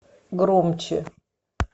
громче